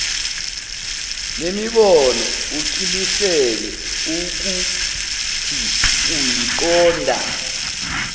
nemibono uqiniseke ukuthiuyiqonda